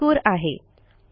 हा मजकूर आहे